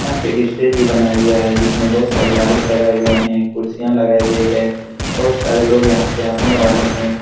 यहाँ पे स्टेज भी बनाया गया है जिसमें बहुत सारे लाइट लगाये गए हैं कुर्सियाँ लगाई गई हैं बहुत सारे लोग यहाँ पे आने वाले हैं।